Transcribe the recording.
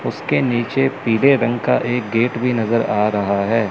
उसके नीचे पीले रंग का एक गेट भी नजर आ रहा है।